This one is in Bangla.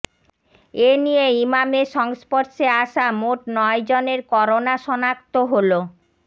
এ নিয়ে ইমামের সংস্পর্শে আসা মোট নয়জনের করোনা শনাক্ত হলো